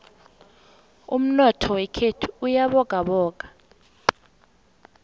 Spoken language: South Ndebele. umnotho wekhethu uyabogaboga